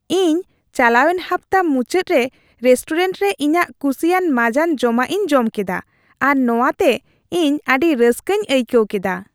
ᱤᱧ ᱪᱟᱞᱟᱣᱮᱱ ᱦᱟᱯᱛᱟ ᱢᱩᱪᱟᱹᱫ ᱨᱮ ᱨᱮᱥᱴᱳᱨᱮᱱᱴ ᱨᱮ ᱤᱧᱟᱹᱜ ᱠᱩᱥᱤᱭᱟᱜ ᱢᱟᱸᱡᱟᱱ ᱡᱚᱢᱟᱜ ᱤᱧ ᱡᱚᱢ ᱠᱮᱫᱟ, ᱟᱨ ᱱᱚᱶᱟᱛᱮ ᱤᱧ ᱟᱹᱰᱤ ᱨᱟᱹᱥᱠᱟᱹᱧ ᱟᱹᱭᱠᱟᱹᱣ ᱠᱮᱫᱟ ᱾